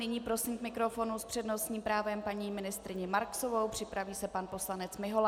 Nyní prosím k mikrofonu s přednostním právem paní ministryni Marksovou, připraví se pan poslanec Mihola.